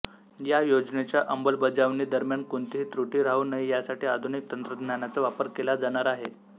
या योजनेच्या अंमलबजावणी दरम्यान कोणतीही तृटी राहू नये यासाठी आधुनिक तंत्रज्ञानाचा वापर केला जाणार आहे